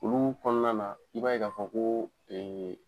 Olu kɔnɔna na i b'a ye ka fɔ ko.